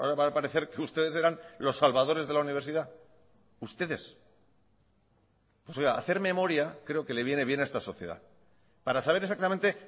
va a parecer que ustedes eran los salvadores de la universidad ustedes hacer memoria creo que le viene bien a esta sociedad para saber exactamente